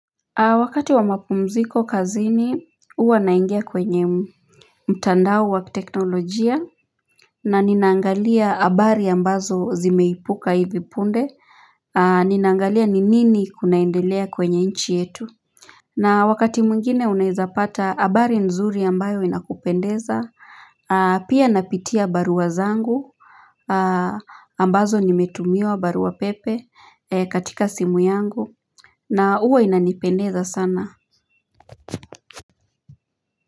Wakati wa mapumziko kazini huwa naingia kwenye mtandao wa teknolojia na ninaangalia habari ambazo zimeipuka hivipunde Ninaangalia ni nini kunaendelea kwenye nchi yetu na wakati mwngine unaeza pata habari nzuri ambayo inakupendeza Pia napitia barua zangu ambazo nimetumiwa barua pepe katika simu yangu na huwa inanipendeza sana.